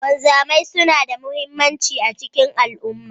Wanzamai suna da muhimmanci a cikin al'umma.